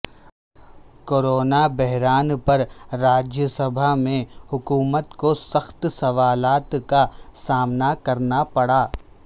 کورونابحران پرراجیہ سبھا میں حکومت کوسخت سوالات کا سامنا کرناپڑا